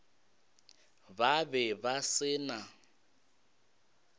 ba be ba se na